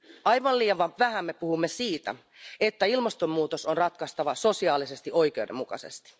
Aivan liian vähän me puhumme siitä, että ilmastonmuutos on ratkaistava sosiaalisesti oikeudenmukaisesti.